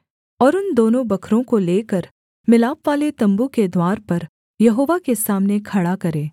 और उन दोनों बकरों को लेकर मिलापवाले तम्बू के द्वार पर यहोवा के सामने खड़ा करे